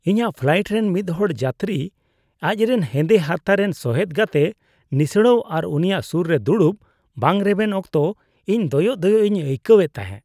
ᱤᱧᱹᱟᱜ flight ᱨᱮᱱ ᱢᱤᱫᱦᱚᱲ ᱡᱟᱛᱨᱤ ᱟᱡᱨᱮᱱ ᱦᱮᱸᱫᱮ ᱦᱟᱨᱛᱟ ᱨᱮᱱ ᱥᱚᱦᱮᱫ ᱜᱟᱛᱮ ᱱᱤᱥᱲᱟᱹᱣ ᱟᱨ ᱩᱱᱤᱭᱟᱜ ᱥᱩᱨ ᱨᱮ ᱫᱩᱲᱩᱵ ᱵᱟᱝ ᱨᱮᱵᱮᱱ ᱚᱠᱛᱚ ᱤᱧ ᱫᱚᱭᱚᱜ ᱫᱚᱭᱚᱜ ᱤᱧ ᱟᱹᱭᱠᱟᱹᱣ ᱮᱫ ᱛᱟᱦᱮᱸ ᱾